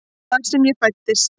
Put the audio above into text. Þar sem ég fæddist.